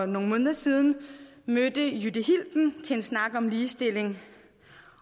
nogle måneder siden mødte jytte hilden til en snak om ligestilling